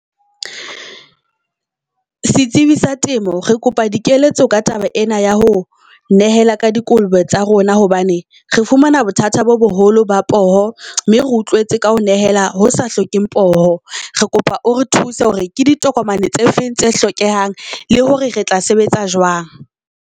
Setsibi sa temo re kopa di keletso ka taba ena ya ho nehela ka di kolobe tsa rona hobane re fumana bothata bo boholo ba poho, mme re utlwetse ka ho nehela ho sa hlokeheng poho. Re kopa o re thuse hore ke ditokomane tse feng tse hlokehang le hore re tla sebetsa jwang.